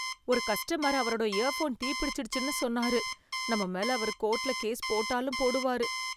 ஒரு கஸ்டமர் அவரோட இயர்ஃபோன் தீ பிடிச்சிடுச்சுன்னு சொன்னாரு. நம்ம மேல அவரு கோர்ட்ல கேஸ் போட்டாலும் போடுவாரு.